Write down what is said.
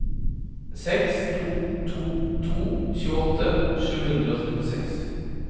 seks to to to tjueåtte sju hundre og trettiseks